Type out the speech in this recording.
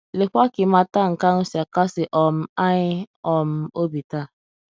Lee kwa ka ịmata nke ahụ si akasi um anyị um obi taa!